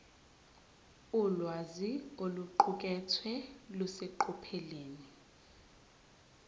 ulwazi oluqukethwe luseqophelweni